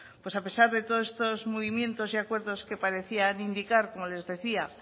pues a pesar de todos estos movimientos y acuerdos que parecían indicar como les decía